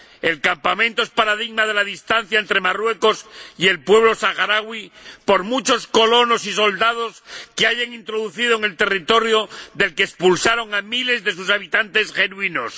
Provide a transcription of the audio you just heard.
El campamento es paradigma de la distancia entre Marruecos y el pueblo saharaui, por muchos colonos y soldados que hayan introducido en el territorio del que expulsaron a miles de sus habitantes genuinos.